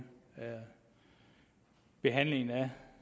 behandlingen af